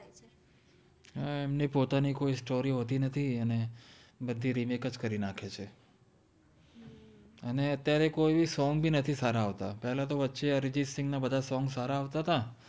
હા એમ્ને પોતાનિ કોઇ story હોતિ નથી અને બદ્દી રીમેક જ કરિ નાખે છે અને અત્ય઼આરે કોઇ સોન્ગ સારા નથિ આવ્તા પેહલા તો વછે અરિજિત સિન્ગ ન બદ્ધા સોન્ગ સારા આવ્તા તા